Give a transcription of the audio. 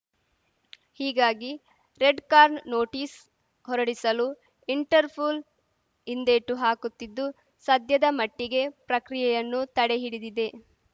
ಹೀಗಾಗಿ red corner notice ಹೊರಡಿಸಲು Interpol ಹಿಂದೇಟು ಹಾಕುತ್ತಿದ್ದು ಸದ್ಯದ ಮಟ್ಟಿಗೆ ಪ್ರಕ್ರಿಯೆಯನ್ನು ತಡೆಹಿಡಿದಿದೆ